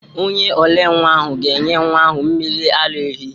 Onye ole nwa ahụ ga-enye nwa ahụ mmiri ara ehi.